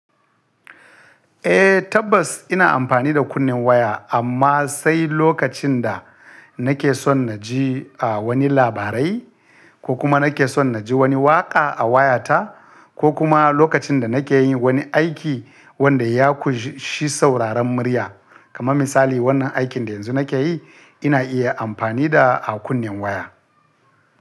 Eh tabbas ina amfani da kunnen waya amma sai lokacin da nake son na ji wani labarai ko kuma nake son na ji wani waƙa a wayata ko kuma lokacin da nake yin wani aiki wanda ya ƙunshi sauraron murya kamar misali wannan aikin da yanzu nake yi ina iya amfani da a kunnen waya.